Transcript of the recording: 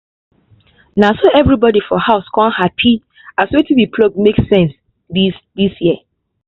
na so everybody for house con happy as wetin we pluck make sense this this year